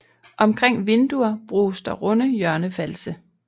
Omkring vinduer bruges der runde hjørnefalse